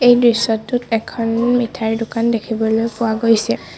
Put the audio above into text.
দৃশ্যটোত এখন মিঠাইৰ দোকান দেখিবলৈ পোৱা গৈছে।